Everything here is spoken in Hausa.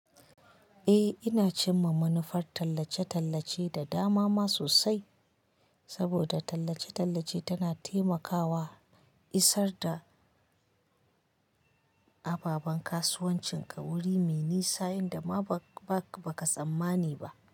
Eh ina cimma manufar tallace-tallace da damama sosai saboda tallace-tallace tana taimakawa isar da ababen kasuwancinka wuri mai nisa yanda ma ba ka tsammani ba.